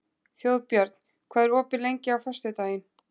Þjóðbjörn, hvað er opið lengi á föstudaginn?